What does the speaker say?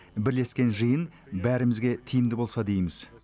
бірлескен жиын бәрімізге тиімді болса дейміз